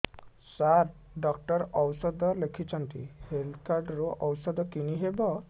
ସାର doctor ଔଷଧ ଲେଖିଛନ୍ତି health card ରୁ ଔଷଧ କିଣି ହେବ